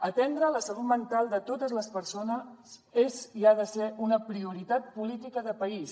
atendre la salut mental de totes les persones és i ha de ser una prioritat política de país